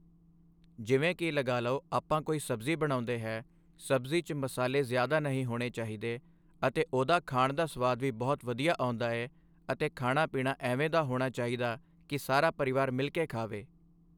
ਜਿਵੇਂ ਕਿ ਲਗਾ ਲਓ ਆਪਾਂ ਕੋਈ ਸਬਜ਼ੀ ਬਣਾਉਂਦੇ ਹਾਂ ਸਬਜ਼ੀ 'ਚ ਮਸਾਲੇ ਜ਼ਿਆਦਾ ਨਹੀਂ ਹੋਣੇ ਚਾਹੀਦੇ ਅਤੇ ਉਹਦਾ ਖਾਣ ਦਾ ਸਵਾਦ ਵੀ ਬਹੁਤ ਵਧੀਆ ਆਉਂਦਾ ਏ ਅਤੇ ਖਾਣਾ ਪੀਣਾ ਐਵੇਂ ਦਾ ਹੋਣਾ ਚਾਹੀਦਾ ਕਿ ਸਾਰਾ ਪਰਿਵਾਰ ਮਿਲ ਕੇ ਖਾਵੇ।